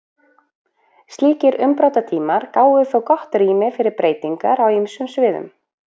Slíkir umbrotatímar gáfu þó gott rými fyrir breytingar á ýmsum sviðum.